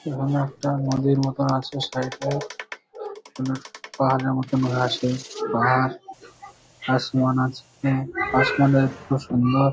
এখানে একটা নদীর মতন আছে সাইড -এ এখানে পাহাড়ের মতন ঘাসে পাহাড় আসমান আছে আসমানের খুব সুন্দর।